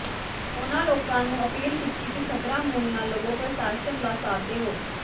ਉਨ੍ਹਾਂ ਲੋਕਾਂ ਨੂੰ ਅਪੀਲ ਕੀਤੀ ਕਿ ਖਤਰਾ ਮੁੱਲ ਨਾ ਲਵੋ ਪ੍ਰਸ਼ਾਸਨ ਦਾ ਸਾਥ ਦੇਵੋ